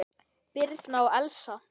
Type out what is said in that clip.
Birna og Elsa.